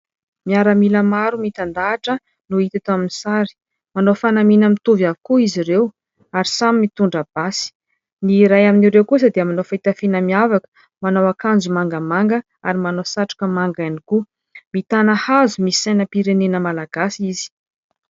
Miaramila maro mitandahatra no hita tao amin'ny sary. Manao fanamiana mitovy avokoa izy ireo ary samy mitondra basy. Ny iray amin'ireo kosa dia manao fitafiana miavaka. Manao akanjo mangamanga ary manao satroka manga ihany koa. Mitana hazo misy sainam-pirenena Malagasy izy.